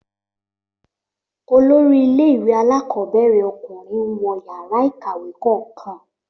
Olórí ilé ìwé alákọ̀ọ́bẹ̀rẹ̀ ọkùnrin ń wo yàrá ìkàwé kọ̀ọ̀kan